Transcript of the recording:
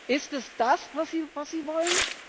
Ist es das, was Sie wollen?